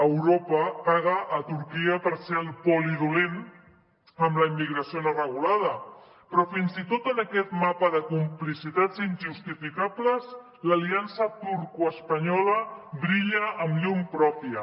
europa paga a turquia per ser el poli dolent amb la immigració no regulada però fins i tot en aquest mapa de complicitats injustificables l’aliança turcoespanyola brilla amb llum pròpia